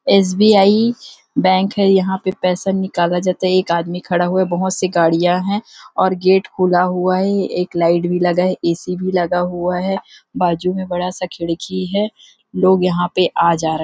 S B _I bank है यहाँ पे पैसा निकाला जाता है एक आदमी खड़ा हुआ है बहुत सी गाड़िया है और गेट खुला हुआ है एक लाइट भी लगा ऐ_सी भी लगा हुआ है बाजु में बड़ा सा खिड़की है लोग यहाँ पे आ जा रहे--